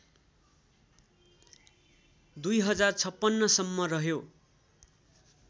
२०५६ सम्म रह्यो